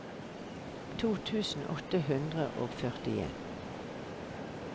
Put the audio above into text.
to tusen åtte hundre og førtien